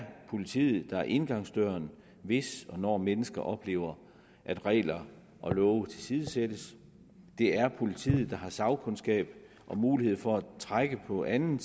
politiet der er indgangsdøren hvis og når mennesker oplever at regler og love tilsidesættes det er politiet der har sagkundskab og mulighed for at trække på anden